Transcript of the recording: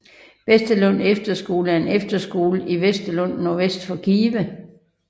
Vesterlund Efterskole er en efterskole i Vesterlund nordvest for Give